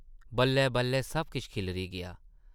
बल्लै-बल्लै सब किश खिल्लरी गेआ ।